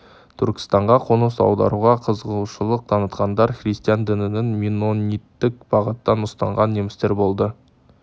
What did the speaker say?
түркістанға қоныс аударуға қызығушылық танытқандар христиан дінінің меннониттік бағытын ұстанған немістер болды